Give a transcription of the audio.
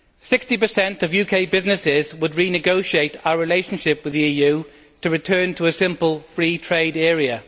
60 of UK businesses would renegotiate our relationship with the EU to return to a simple free trade area.